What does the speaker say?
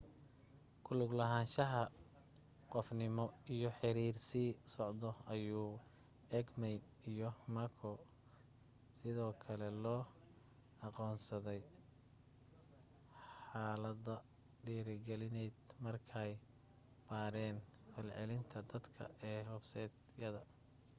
ku luglahaanshaha qofnimo ”iyo xiriir sii socda” ayuu eighmey iyo mccor 1998 sidoo kale loo aqoonsaday xaalado dhiirigelineed markay baadheen falcelinta dadka ee websaydyada